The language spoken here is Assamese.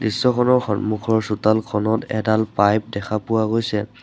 দৃশ্যখনৰ সন্মুখৰ চোতালখনত এডাল পাইপ দেখা পোৱা গৈছে।